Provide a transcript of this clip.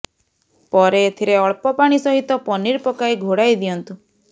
ପରେ ଏଥିରେ ଅଳ୍ପ ପାଣି ସହିତ ପନିର ପକାଇ ଘୋଡ଼ାଇ ଦିଅନ୍ତୁ